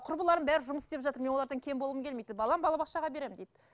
құрбыларым бәрі жұмыс істеп жатыр мен олардан кем болғым келмейді дейді балам бала бақшаға беремін дейді